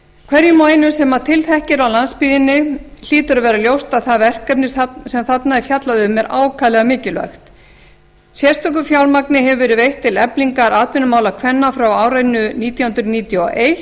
hverjum og einum sem til þekki á landsbyggðinni hlýtur að vera ljóst að það verkefni sem þarna er fjallað um er ákaflega mikilvægt sérstakt fjármagn hefur verið veitt til eflingar atvinnumála kvenna frá árinu nítján hundruð níutíu og eins